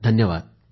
धन्यवाद